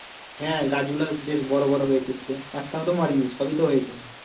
হ্যাঁ গাছ গুলো বেশ বড়ো বড়ো হয়েছে তুই দেখ একটাও তো মরেনি সবই তো হয়েছে।